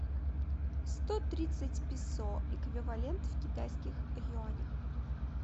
сто тридцать песо эквивалент в китайских юанях